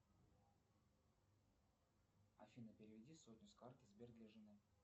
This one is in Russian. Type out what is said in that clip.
афина переведи сотню с карты сбер для жены